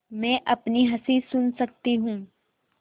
मैं अपनी हँसी सुन सकती हूँ